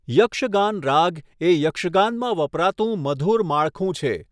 યક્ષગાન રાગ એ યક્ષગાનમાં વપરાતું મધુર માળખું છે.